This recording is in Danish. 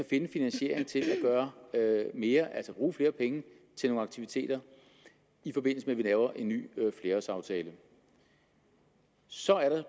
en finansiering til at gøre mere altså bruge flere penge til nogle aktiviteter i forbindelse med at vi laver en ny flerårsaftale så er der